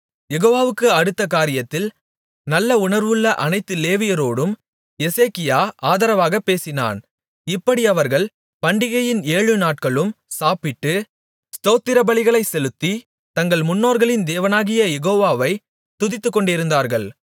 யெகோவாவுக்கு அடுத்த காரியத்தில் நல்ல உணர்வுள்ள அனைத்து லேவியரோடும் எசேக்கியா ஆதரவாகப் பேசினான் இப்படி அவர்கள் பண்டிகையின் ஏழு நாட்களும் சாப்பிட்டு ஸ்தோத்திரபலிகளைச் செலுத்தி தங்கள் முன்னோர்களின் தேவனாகிய யெகோவாவை துதித்துக்கொண்டிருந்தார்கள்